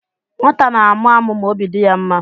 Nwata na-amụ amụ ma obi dị ya mma.